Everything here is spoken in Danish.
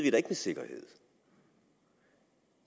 ikke med sikkerhed